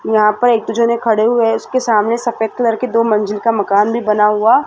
यहाँ पर एक दो जने खड़े हुए है उसके सामने सफेद कलर के दो मंजिल का मकान भी बना हुआ--